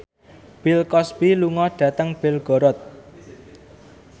Bill Cosby lunga dhateng Belgorod